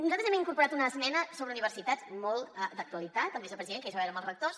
nosaltres hem incorporat una esmena sobre universitats molt d’actualitat el vicepresident que ahir es va veure amb els rectors